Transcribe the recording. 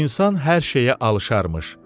İnsan hər şeyə alışarmış.